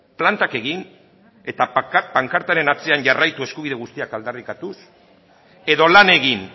plantak egin eta pankartaren atzean jarraitu eskubide guztiak aldarrikatuz edo lan egin